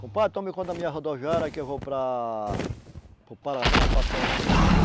Compadre, tome conta da minha rodoviária que eu vou para... para o Paraná, passar uns vinte dias.